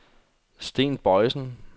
Sten Boysen